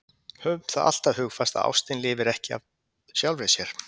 Höfum það alltaf hugfast að ástin lifir ekki af sjálfri sér.